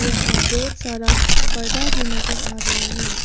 यहां बहोत सारा पर्दा भी नजर आ रहे हैं।